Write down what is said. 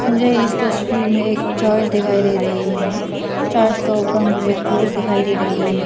मुझे इस तस्वीर में एक चर्च दिखाई दे रही है चर्च का ऊपर मुझे क्रॉस दिखाई दे रही है।